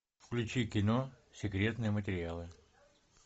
включи кино секретные материалы